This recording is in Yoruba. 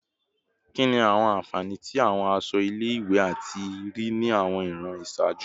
Kini awọn anfani ti awọn aṣọ ile-iwe ti a rii ni awọn iran iṣaaju?